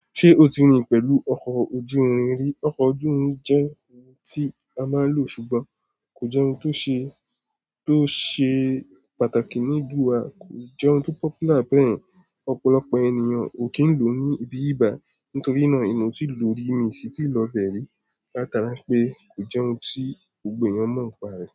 Ṣé o ti rí i pẹ̀lú ọkọ̀ ojú irin rí? Ọkọ̀ ojú irin jẹ́ ohun tí a máa ń lò, ṣùgbọ́n kò jẹ́ ohun tó ṣe, tó ṣe pàtàkì nílùú wa, kò jọ ohun tó popular bẹ́ yẹn. Ọ̀pọ̀lọpọ̀ ènìyàn ò kì í lò ó ní ibi ìbà, nítorí ìná èmi o tí lò rí mi ṣí ti lọ bẹ̀rẹ̀, látàra pé kò jẹ́ ohun tí gbogbo ènìyàn mọ̀ ń pa rẹ.